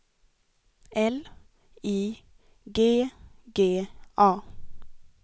L I G G A